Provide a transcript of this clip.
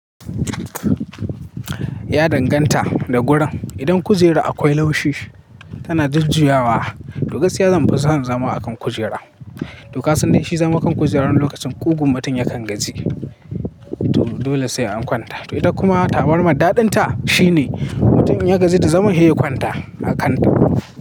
Ya danganta da gurin. Idan kujera akwai laushi tana jujjuyawa, to gaskiya zanfi son zama akan kujera. To kasan da shi zamu kan kujera wani lokacin ƙugun mutum yakan gaji. To dole sai an kwanta. To ita kuma tabarmar daɗin ta shine mutum in ya gaji da zaman he kwanta a kan ta.